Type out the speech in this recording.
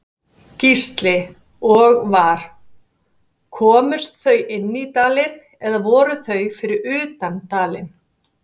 Gísli: Og var, komust þau inni í dalinn eða voru þau fyrir utan dalinn?